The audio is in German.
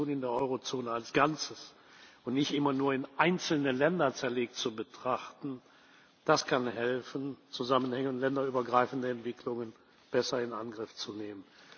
Die Situation in der Eurozone als Ganzes und nicht immer nur in einzelne Länder zerlegt zu betrachten, kann helfen, Zusammenhänge und länderübergreifende Entwicklungen besser in Angriff zu nehmen.